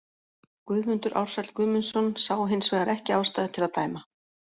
Guðmundur Ársæll Guðmundsson sá hins vegar ekki ástæðu til að dæma.